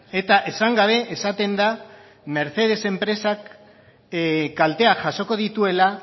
eta esan gabe esaten da mercedes enpresak kalteak jasoko dituela